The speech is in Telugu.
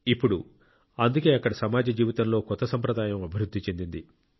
ఇప్పుడు అందుకే అక్కడ సమాజ జీవితంలో కొత్త సంప్రదాయం అభివృద్ధి చెందింది